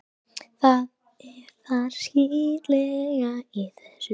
Það er það skítlega í þessu.